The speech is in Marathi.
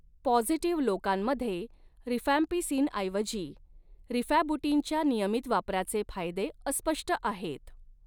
पॉझिटिव्ह लोकांमध्ये रिफॅम्पिसिनऐवजी रिफॅबुटिनच्या नियमित वापराचे फायदे अस्पष्ट आहेत.